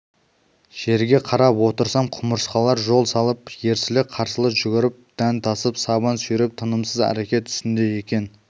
жерге қарап отырсам құмырсқалар жол салып ерсілі-қарсылы жүгіріп дән тасып сабан сүйреп тынымсыз әрекет үстінде екен